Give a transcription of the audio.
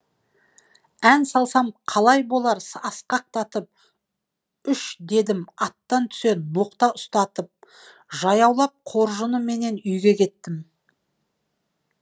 ән салсам қалай болар асқақтатып үш дедім аттан түсе ноқта ұстатып жаяулап қоржынменен үйге кеттім